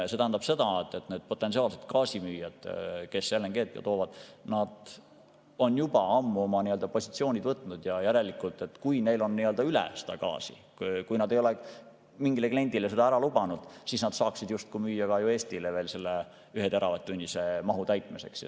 See tähendab seda, et need potentsiaalsed gaasimüüjad, kes LNG‑d toovad, on juba ammu oma positsioonid võtnud ja kui neil on gaasi üle ja kui nad ei ole mingile kliendile seda juba ära lubanud, siis nad saaksid justkui müüa ka Eestile veel selle ühe teravatt‑tunnise mahu täitmiseks.